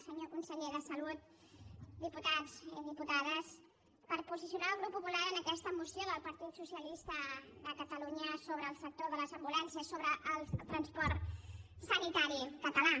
senyor conseller de salut diputats i diputades per posicionar el grup popular en aquesta moció del partit socialista de catalunya sobre el sector de les ambulàncies sobre el transport sanitari català